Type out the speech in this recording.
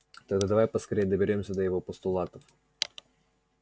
тогда давай поскорее доберёмся до его постулатов